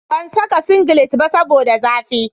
Ban saka singilet ba saboda zafi